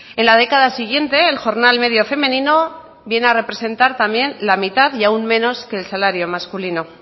en la década siguiente el jornal medio femenino viene a representar también la mitad y aún menos que el salario masculino